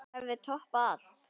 Það hefði toppað allt.